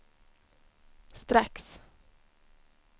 strax